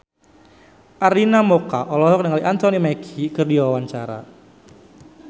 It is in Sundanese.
Arina Mocca olohok ningali Anthony Mackie keur diwawancara